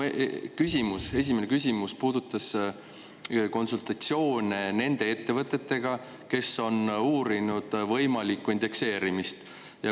Minu küsimus, esimene küsimus puudutas konsultatsioone nende ettevõtetega, kes on uurinud võimalikku indekseerimist.